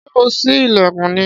Ṣé ò sí ilẹkun ni?